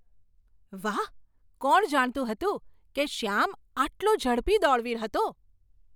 વાહ! કોણ જાણતું હતું કે શ્યામ આટલો ઝડપી દોડવીર હતો?